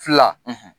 Fila